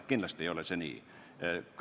Kindlasti ei ole see nii.